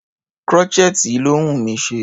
Crochet yìí ló wùnmí ṣe.